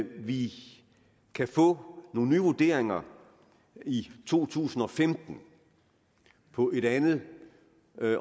vi kan få nogle nye vurderinger i to tusind og femten på et andet